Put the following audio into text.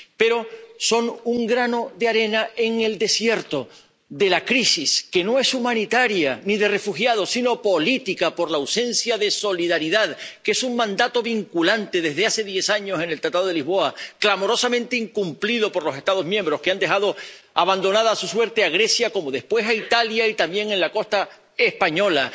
Pero son un grano de arena en el desierto de la crisis, que no es humanitaria, ni de refugiados, sino política por la ausencia de solidaridad, que es un mandato vinculante —desde hace diez años, desde el Tratado de Lisboa—, clamorosamente incumplido por los Estados miembros, que han dejado abandonada a su suerte a Grecia, como después a Italia y también a la costa española.